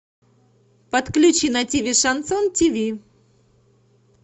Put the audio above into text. подключи на ти ви шансон ти ви